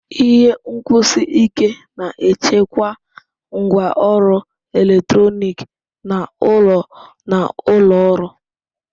Ihe nkwụsi ike na-echekwa ngwaọrụ eletrọnịkị n'ụlọ na ụlọ ọrụ.